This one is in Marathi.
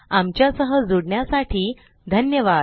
आमच्या सह जुडण्यासाठी धन्यवाद